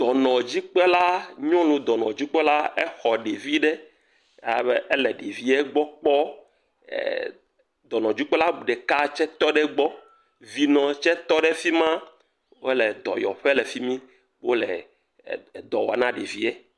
Dɔnɔdzikpɔla nyɔnu dɔnɔdzikpɔla aɖe xɔ ɖevi aɖe, alebe ele ɖevia gbɔ kpɔm ee., dɔnɔdzikpɔla ɖeka tse tɔ ɖe egbɔ, vinɔɔ tse tɔ ɖe fi ma wole dɔyɔƒe le fimi wole dɔ wɔm na ɖevie.